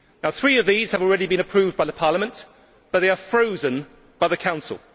Three of these have already been approved by Parliament but they are frozen by the Council.